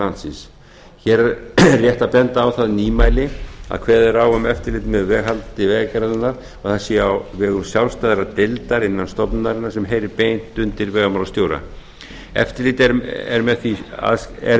landsins hér er rétt að benda á það nýmæli að kveðið er á um eftirlit með veghaldi vegagerðarinnar að það sé á vegum sjálfstæðrar deildar innan stofnunarinnar sem heyri beint undir vegamálastjóra eftirlit er